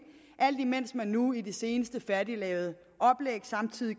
alt imens man nu i det senest færdiglavede oplæg